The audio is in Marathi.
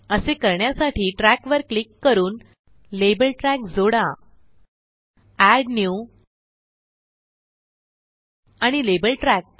असे करण्यासाठी ट्रॅक वर क्लिक करून लेबल ट्रॅक जोडा जीटीजीटी एड न्यू आणिLabel ट्रॅक